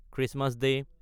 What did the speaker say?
Christmas day